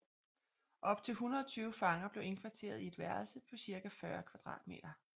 Op til 120 fanger blev indkvarteret i et værelse på cirka 40 m²